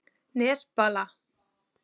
Nesbala